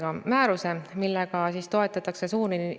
Kui väga suurelt üldistada, siis on loota rahvastikuarvu vähenemise aeglustumist.